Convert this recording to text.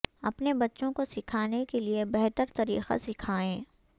اپنے بچوں کو سکھانے کے لئے بہتر طریقہ سکھائیں